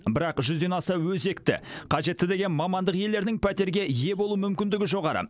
бірақ жүзден аса өзекті қажетті деген мамандық иелерінің пәтерге ие болу мүмкіндігі жоғары